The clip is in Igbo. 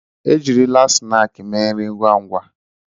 E jirila snaaskị mee nri ngwá ngwá.